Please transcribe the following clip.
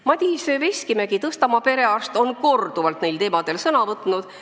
Madis Veskimägi, Tõstamaa perearst, on korduvalt neil teemadel sõna võtnud.